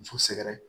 Muso sɛgɛrɛ